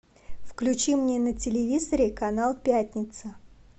включи мне на телевизоре канал пятница